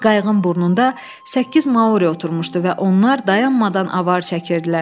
Qayığın burnunda səkkiz Mauri oturmuşdu və onlar dayanmadan avar çəkirdilər.